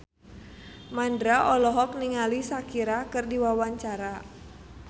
Mandra olohok ningali Shakira keur diwawancara